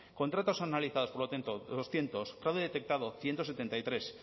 contratos analizados por lo tanto doscientos fraude detectado ciento setenta y tres